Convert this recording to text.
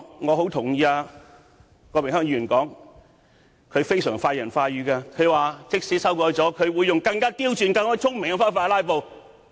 我很認同郭榮鏗議員的說法，他非常快人快語，說在修訂《議事規則》後，他便會用更刁鑽、更聰明的方法"拉布"。